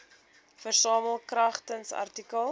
versamel kragtens artikel